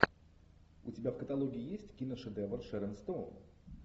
у тебя в каталоге есть киношедевр с шерон стоун